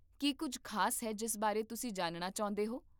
ਕੀ ਕੁੱਝ ਖ਼ਾਸ ਹੈ ਜਿਸ ਬਾਰੇ ਤੁਸੀਂ ਜਾਣਨਾ ਚਾਹੁੰਦੇ ਹੋ?